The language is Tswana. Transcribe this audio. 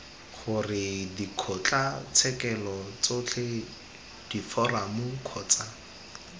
gore dikgotlatshekelo tsotlhe diforamo kgotsa